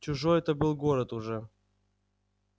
чужой это был город уже